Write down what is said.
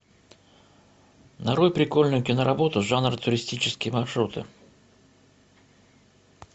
нарой прикольную киноработу жанр туристические маршруты